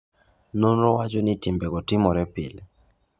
Nonro wacho ni timbego timore pile.